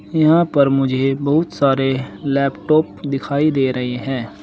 यहां पर मुझे बहुत सारे लैपटॉप दिखाई दे रहे हैं।